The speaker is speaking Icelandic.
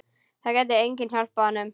Það gæti enginn hjálpað honum.